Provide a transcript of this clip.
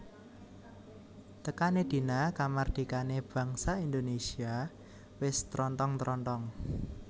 Tekané dina kamardikané bangsa Indonesia wis trontong trontong